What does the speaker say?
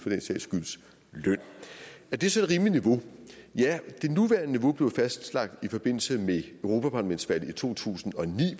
løn er det så et rimeligt niveau det nuværende niveau blev fastlagt i forbindelse med europaparlamentsvalget i to tusind og ni